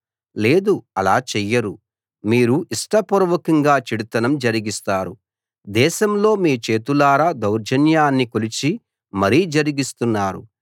లేదు అలా చెయ్యరు మీరు ఇష్టపూర్వకంగా చెడుతనం జరిగిస్తారు దేశంలో మీ చేతులారా దౌర్జన్యాన్ని కొలిచి మరీ జరిగిస్తున్నారు